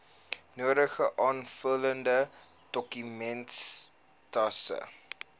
nodige aanvullende dokumentasie